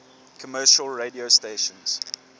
commercial radio stations